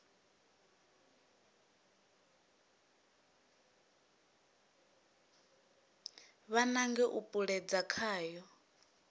vha nange nga u puṱedza khayo